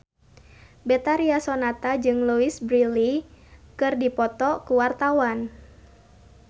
Betharia Sonata jeung Louise Brealey keur dipoto ku wartawan